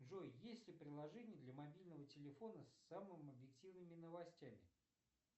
джой есть ли приложение для мобильного телефона с самыми объективными новостями